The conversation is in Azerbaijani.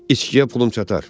İçkiyə pulum çatar.